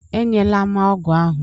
E nyela m ọgwụ ahụ!